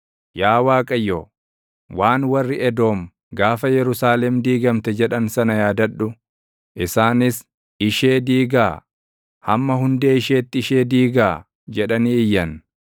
Yaa Waaqayyo, waan warri Edoom gaafa Yerusaalem diigamte jedhan sana yaadadhu; isaanis, “Ishee diigaa! Hamma hundee isheetti ishee diigaa!” jedhanii iyyan.